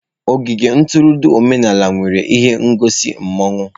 Ogige ntụrụndụ omenala nwere ihe ngosi mmawụ.